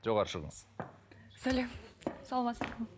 жоғары шығыңыз сәлем саламатсыздар ма